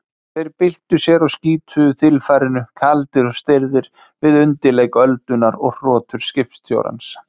Þeir byltu sér á skítugu þilfarinu, kaldir og stirðir, við undirleik öldunnar og hrotur skipstjórans